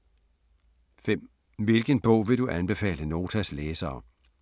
5) Hvilken bog vil du anbefale Notas læsere?